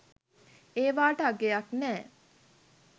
ඒවාට අගයක් නෑ